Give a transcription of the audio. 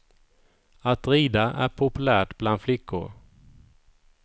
Att rida är populärt bland flickor.